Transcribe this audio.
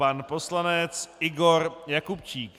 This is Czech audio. Pan poslanec Igor Jakubčík.